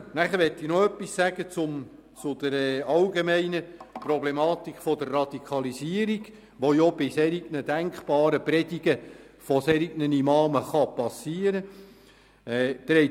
Ich möchte noch etwas zur allgemeinen Problematik der Radikalisierung sagen, die bei solch denkbaren Predigten von Imamen auftreten kann.